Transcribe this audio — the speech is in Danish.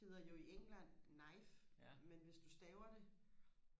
hedder jo i England knife men hvis du staver det